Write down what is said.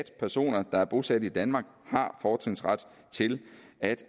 personer der er bosat i danmark har fortrinsret til at